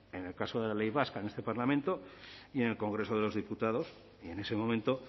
en el caso de la ley vasca en este parlamento y en el congreso de los diputados y en ese momento